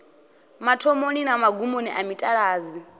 mathomoni na magumoni a mitaladzi